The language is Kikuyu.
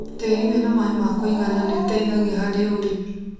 Tĩri wĩna maĩ ma kũigana nĩũteithagia harĩ ũrĩmi